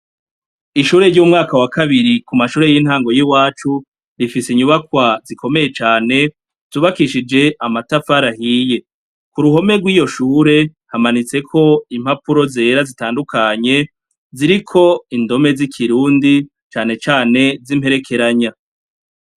Ishure ry'umwaka wa kabiri kumashure y'intango y'iwacu rifise inyubakwa zikomeye cane zubakishije amatafari ahiye k'uruhome rw'iyoshure hamanitseko impapuro zera zitandukanye ziriko indome z'ikirundi canecane z'imperekeranya.